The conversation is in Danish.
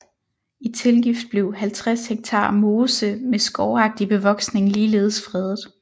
I tilgift blev 50 ha mose med skovagtig bevoksning ligeledes fredet